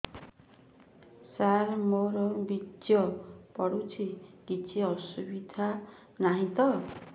ସାର ମୋର ବୀର୍ଯ୍ୟ ପଡୁଛି କିଛି ଅସୁବିଧା ନାହିଁ ତ